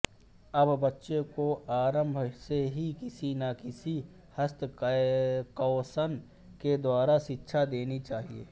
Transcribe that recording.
अत बच्चों को आरंभ से ही किसी न किसी हस्तकौशल के द्वारा शिक्षा देनी चाहिए